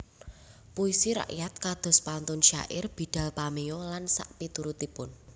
Puisi rakyat kados pantun syair bidal pameo lan sakpiturutipun